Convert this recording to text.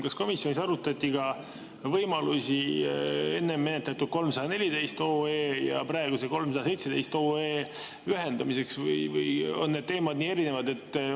Kas komisjonis arutati ka võimalusi enne menetletud 314 OE ja praegu 317 OE ühendamiseks või on need teemad nii erinevad?